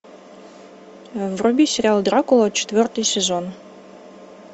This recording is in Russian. вруби сериал дракула четвертый сезон